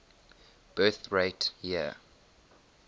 birth rate year